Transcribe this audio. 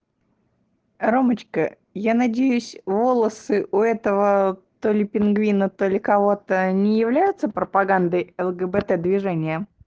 ромочка я надеюсь волосы у этого то ли пингвина только кого-то не являются пропагандой лгбт движения